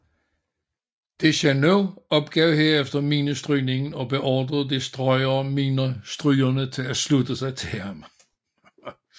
Dechaineux opgav herefter minestrygningen og beordrede destroyerminestrygerne til at slutte sig til ham